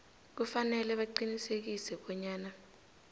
kufanele baqinisekise bonyana